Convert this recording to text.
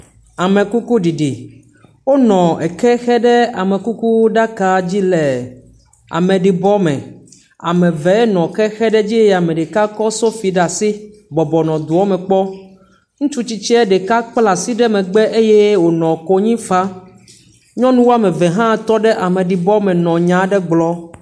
Amekukuɖiɖi, wonɔ eke xe ɖe amekukuɖaka dzi le ameɖibɔme, eme eve nɔ ke xeɖe edzi eye ame ɖeka kɔ sofi ɖe asi bɔbɔnɔ doa me kpɔm, ŋutsu tsitsie ɖeka kpla asi ɖe megbe eye wònɔ konyi fam, nyɔnu eve hã tɔ ɖe ameɖibɔme nɔ nya aɖe gblɔm.